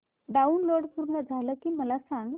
download पूर्ण झालं की मला सांग